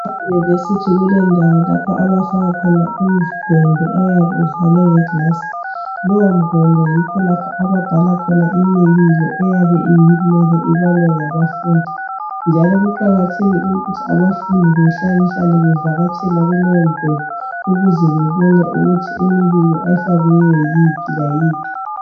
Eyunivesithi kulendawo lapho abafaka khona imigwembe oyabe uvalwe ngeglasi, kulowo mgwembe yikho lapha ababhala khona imibiko eyabe ibalwe ngabafundi, njalo kuqakathekile ukuthi behlale hlale bevakatshele leyo imigwembe ukuze bebone ukuthi imibiko efakiweyo yiphi layiphi.